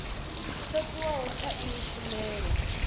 tsho tiwaho tsha iyi tshumelo